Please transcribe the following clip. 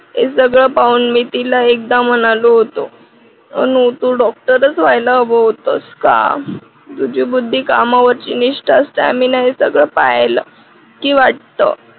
हे सगळं पाहून मी एकदा तिला म्हणालो होतो अनु तू डॉक्टर च व्हायला हवं होतंस का? तुझी बुद्धी कामावरची निष्ठा असते आम्ही ना हे सगळं पाहिलं की वाटतं.